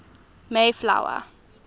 mayflower